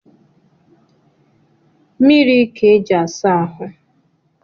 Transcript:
Mmiri ka e ji asa ahụ